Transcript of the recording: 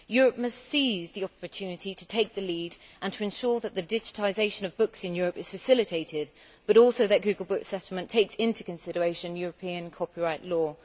Europe must seize the opportunity to take the lead and to ensure that the digitisation of books in Europe is facilitated, but also that the Google Books settlement takes into consideration European copyright law.